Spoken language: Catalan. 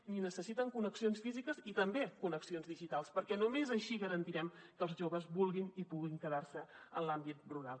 i necessiten connexions físiques i també connexions digitals perquè només així garantirem que els joves vulguin i puguin quedar se en l’àmbit rural